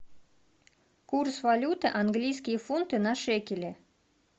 курс валюты английские фунты на шекели